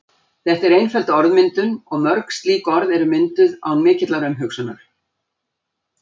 Þetta er einföld orðmyndun og mörg slík orð eru mynduð án mikillar umhugsunar.